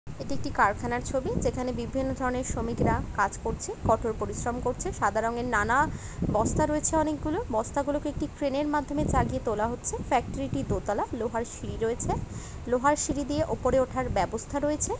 এটি একটি কারখানার ছবি | সেখানে বিভিন্ন ধরনের শ্রমিকরা কাজ করছে কঠোর পরিশ্রম করছে | সাদা রঙের নানা বস্তা রয়েছে অনেকগুলো বস্তাগুলোকে একটি ক্রেন -এর মাধ্যমে চাগিয়ে তোলা হচ্ছে | ফ্যাক্টরি টি দোতলায় লোহার সিঁড়ি রয়েছে | লোহার সিঁড়ি দিয়ে উপরে ওঠার ব্যবস্থা রয়েছে |